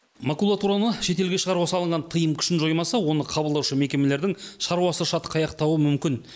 макулатураны шетелге шығаруға салынған тыйым күшін жоймаса оны қабылдаушы мекемелердің шаруасы шатқаяқтауы мүмкін